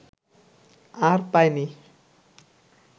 আর পায়নি